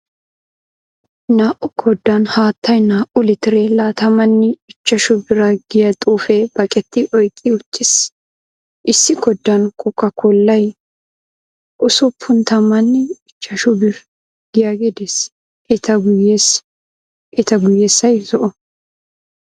Naa"u koddan haattay, naa"u litire laatamanne ichchashu bira giya xuufee baqqeti oyqqi uttiis. issi koddan kokkaakkollay, usuppun tammanne ichchashu birr giyaagee dees. eta guyessay zo"o.